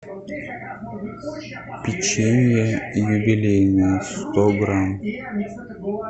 печенье юбилейное сто грамм